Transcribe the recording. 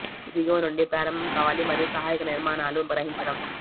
ఇది దిగువ నుండి ప్రారంభం కావాలి మరియు సహాయక నిర్మాణాలు గ్రహించడం